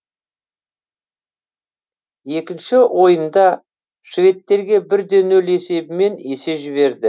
екінші ойында шведтерге бір де нөл есебімен есе жіберді